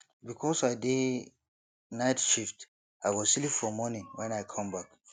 because i dey night shift i go sleep for morning wen i come back